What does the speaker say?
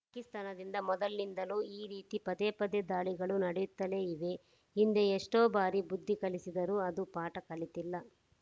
ಪಾಕಿಸ್ತಾನದಿಂದ ಮೊದಲಿನಿಂದಲೂ ಈ ರೀತಿ ಪದೇ ಪದೇ ದಾಳಿಗಳು ನಡೆಯುತ್ತಲೇ ಇವೆ ಹಿಂದೆ ಎಷ್ಟೋ ಬಾರಿ ಬುದ್ಧಿ ಕಲಿಸಿದರೂ ಅದು ಪಾಠ ಕಲಿತಿಲ್ಲ